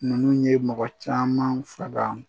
Ninnu ye mɔgɔ caman faga